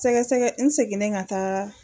Sɛgɛsɛgɛ n seginnen ka taa